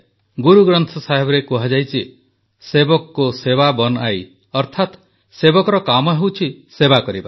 ଗୁରୁଗ୍ରନ୍ଥ ସାହେବରେ କୁହାଯାଇଛି ସେବକ କୋ ସେବା ବନ୍ ଆଇ ଅର୍ଥାତ୍ ସେବକର କାମ ହେଉଛି ସେବା କରିବା